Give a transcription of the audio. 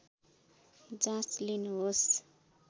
जाँच लिनुहोस्